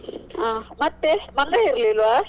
ಹ್ಮ ಮತ್ತೆ ಮಂಗಾ ಇರ್ಲಿಲ್ವ?